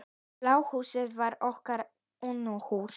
Bláa húsið var okkar Unuhús.